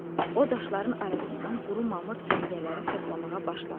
O daşların arasından quru mamır cəngələri toplamağa başladı.